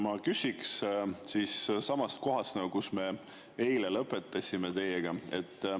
Ma samast kohast, kus me eile lõpetasime teiega.